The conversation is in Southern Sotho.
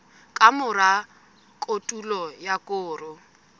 ka mora kotulo ya koro